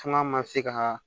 Kuma ma se ka